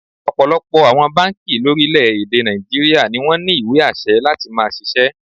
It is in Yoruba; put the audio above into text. Ọ̀pọ̀lọpọ̀ àwọn báǹkì lórílẹ̀-èdè Nàìjííríà ni wọ́n ní ìwé àṣẹ láti máá ṣiṣẹ́